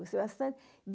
Gostei bastante.